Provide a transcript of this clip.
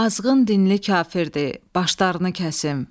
Azğın dinli kafirdir, başlarını kəsim.